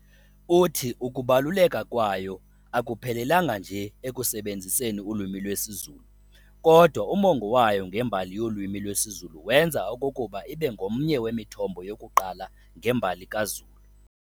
Uthi ukubaluleka kwayo akuphelelanga nje ekusebenziseni ulwimi lwesiZulu, kodwa umongo wayo ngembali yolwimi lwesiZulu wenza okokuba ibe ngomnye wemithombo yokuqala ngembali kaZulu.